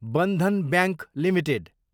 Bandhan bank Ltd